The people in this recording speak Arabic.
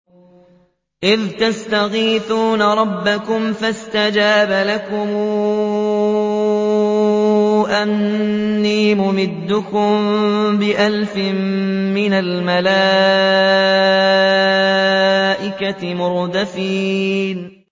إِذْ تَسْتَغِيثُونَ رَبَّكُمْ فَاسْتَجَابَ لَكُمْ أَنِّي مُمِدُّكُم بِأَلْفٍ مِّنَ الْمَلَائِكَةِ مُرْدِفِينَ